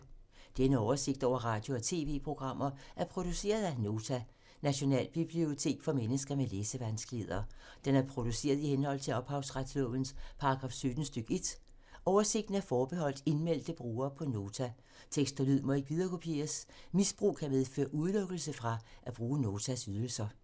Denne oversigt over radio og TV-programmer er produceret af Nota, Nationalbibliotek for mennesker med læsevanskeligheder. Den er produceret i henhold til ophavsretslovens paragraf 17 stk. 1. Oversigten er forbeholdt indmeldte brugere på Nota. Tekst og lyd må ikke viderekopieres. Misbrug kan medføre udelukkelse fra at bruge Notas ydelser.